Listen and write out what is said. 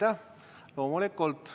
Jah, loomulikult.